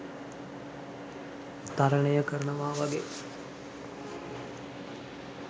තරනය කරනවා වගේ